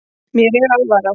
Mér er alvara